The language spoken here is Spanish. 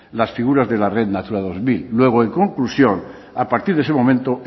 las figuras de la red natura dos mil luego en conclusión a partir de ese momento